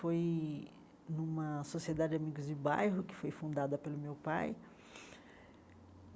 Foi numa sociedade amigos de bairro que foi fundada pelo meu pai.